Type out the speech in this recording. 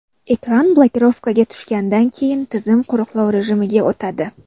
Ekran blokirovkaga tushgandan keyin tizim qo‘riqlov rejimiga o‘tadi.